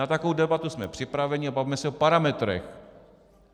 Na takovou debatu jsme připraveni a bavme se o parametrech.